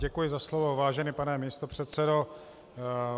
Děkuji za slovo, vážený pane místopředsedo.